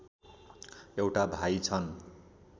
एउटा भाइ छन्